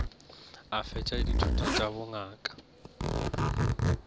a fetša dithuto tša bongaka